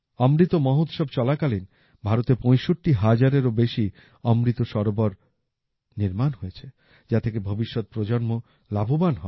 অমৃতমহোৎসব চলাকালীন ভারতে ৬৫ হাজারেরো বেশি অমৃত সরোবর নির্মাণ হয়েছে যা থেকে ভবিষ্যৎ প্রজন্ম লাভবান হবে